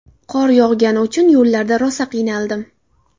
Qor yog‘gani uchun yo‘llarda rosa qiynaldim.